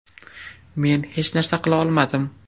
Men hech narsa qila olmadim.